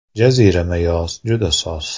Jazirama yoz juda soz!